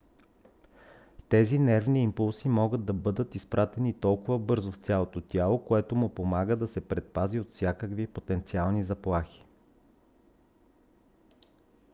тези нервни импулси могат да бъдат изпратени толкова бързо в цялото тяло което му помага да се предпази от всякакви потенциални заплахи